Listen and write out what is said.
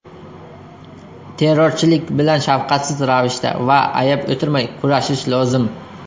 Terrorchilik bilan shafqatsiz ravishda va ayab o‘tirmay kurashish lozim.